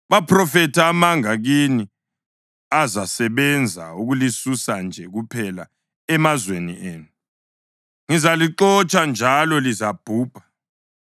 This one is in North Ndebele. Baphrofetha amanga kini azasebenza ukulisusa nje kuphela emazweni enu; ngizalixotsha njalo lizabhubha.